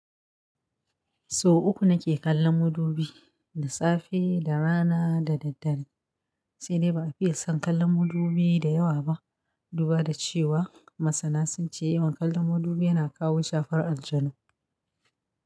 So uku nake kallon mudubi, da safe, da rana, da daddare. Sai dai ba a fiye son kallan mudubi da yawa ba, duba da cewa, masana sun ce yawan kallan mudubi yana kawo shafar aljanu.